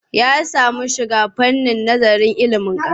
Ya samu shiga fannin nazarin ilimin ƙasa.